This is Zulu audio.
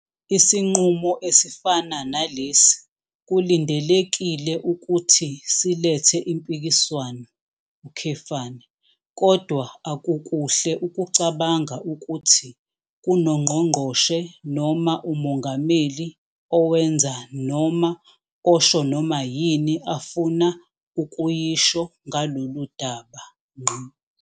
Isinqumo esifana nalesi kulindelekile ukuthi silethe impikiswano, kodwa akukuhle ukucabanga ukuthi kunoNgqongqoshe noma uMongameli owenza noma osho noma yini afuna ukuyisho ngalolu daba.